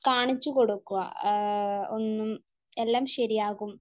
കാണിച്ചു കൊടുക്കുക. ഒന്നും, എല്ലാം ശരിയാകും,